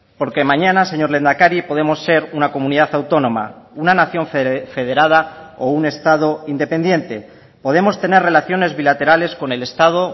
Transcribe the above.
porque mañana señor lehendakari podemos ser una comunidad autónoma una nación federada o un estado independiente podemos tener relaciones bilaterales con el estado